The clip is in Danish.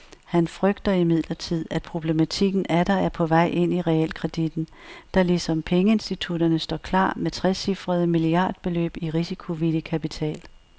Han frygter imidlertid, at problematikken atter er på vej ind i realkredittten, der ligesom pengeinstitutterne står klar med trecifrede milliardbeløb i risikovillig kapital.